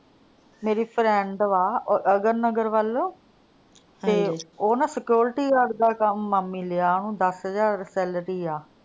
. ਮੇਰੀ friend ਵਾ ਅਗਰ ਨਗਰ ਵੱਲ। ਤੇ, ਉਹ ਨਾ security guard ਦਾ ਕੱਮ ਮਾਮੀ ਲਿਆ ਉਹਨੂੰ ਦਸ ਹਜ਼ਾਰ salary ਆ।